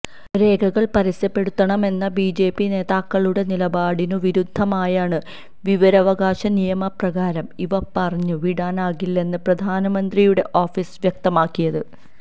രേഖകള് പരസ്യപ്പെടുത്തണമെന്ന ബിജെപി നേതാക്കളുടെ നിലപാടിനു വിരുദ്ധമായാണ് വിവരാവകാശ നിയമപ്രകാരം ഇവ പുറത്തു വിടാനാകില്ലെന്ന് പ്രധാനമന്ത്രിയുടെ ഓഫീസ് വ്യക്തമാക്കിയത്